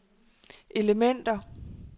elementer